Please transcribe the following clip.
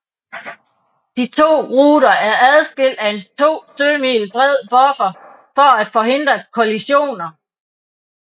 De 2 ruter er adskilt af en 2 sømil bred buffer for at forhindre kollisioner